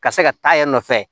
Ka se ka taa yan nɔ fɛ